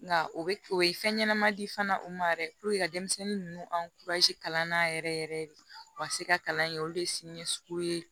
Nka o ye fɛn ɲɛnɛma di fana o ma yɛrɛ ka denmisɛnnin ninnu an kurazi kalan na yɛrɛ yɛrɛ yɛrɛ de u ka se ka kalan in kɛ olu de ye siniɲɛsugu ye